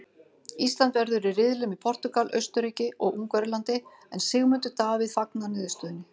Ísland verður í riðli með Portúgal, Austurríki og Ungverjalandi en Sigmundur Davíð fagnar niðurstöðunni.